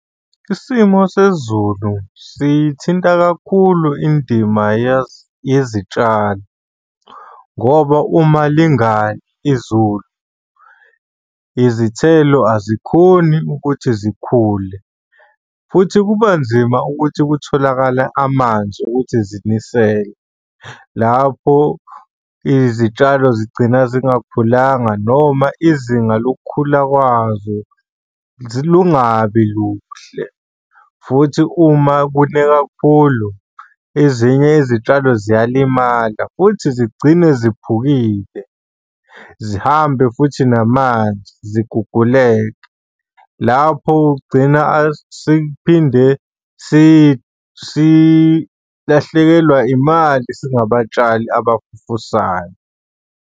Isimo sezulu siyithinta kakhulu indima yezitshalo ngoba uma lingani izulu izithelo azikhoni ukuthi zikhule futhi kuba nzima ukuthi kutholakale amanzi okuthi ziniselwe. Lapho izitshalo zigcina zingakhulanga noma izinga lokukhula kwazo lungabi luhle, futhi uma kune kakhulu ezinye izitshalo ziyalimala futhi zigcine ziphukile, zihambe futhi namanzi ziguguleke. Lapho ugcina sekuphinde silahlekelwa imali singabatshali abafufusayo.